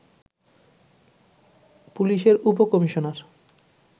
পুলিশের উপ-কমিশনার